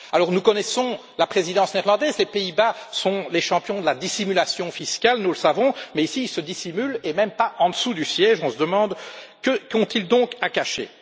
Nous connaissons la Présidence néerlandaise les Pays Bas sont les champions de la dissimulation fiscale, nous le savons mais, ici, ils se dissimulent et même pas en dessous du siège. On se demande ce qu'ils ont à cacher.